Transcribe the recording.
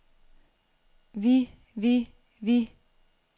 vi vi vi